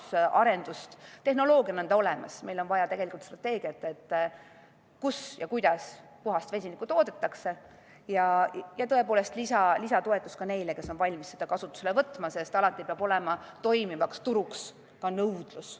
Ma ütleksin selle kohta, et tehnoloogia on meil olemas, aga meil on vaja strateegiat, kus ja kuidas puhast vesinikku toodetakse, ja lisatoetust neile, kes on valmis seda kasutusele võtma, sest alati peab toimiva turu jaoks olema ka nõudlus.